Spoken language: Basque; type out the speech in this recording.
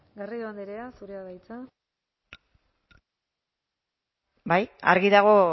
garrido andrea zurea da hitza bai argi dago